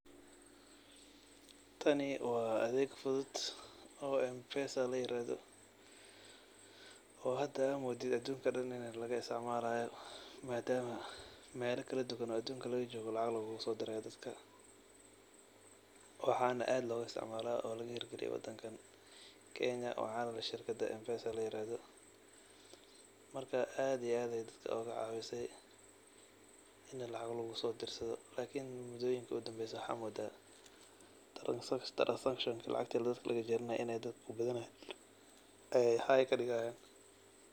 Taani waa adeeg fudhut oo M-pesa lairadho oo hada aad moodid adunka daan in laga isticmalayo madama meela kaladuwan adunka laga jogo lacag lagasodirayo daadka waxan aad loga isticmala oo heer galiya wadanka Kenya wax leeh shirkada M-pesa lairadho marka ad iyo add ayey cawisay in lacag lagusodirsadho lakiin mudoyinka udambeyysa waxa u mooda transaction lacgti dadka lagajaranaye inay dadka ayey high kadigayan.